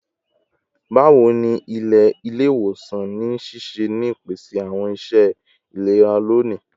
Bawo ni ile-iwosan n ṣiṣẹ ni ipese awọn iṣẹ ilera loni?